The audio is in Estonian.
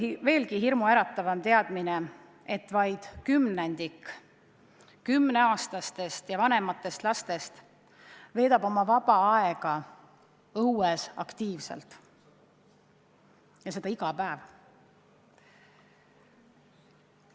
Või veelgi hirmuäratavam teadmine: vaid kümnendik 10-aastastest ja vanematest lastest veedab oma vaba aega õues aktiivselt tegutsedes, ja seda iga päev.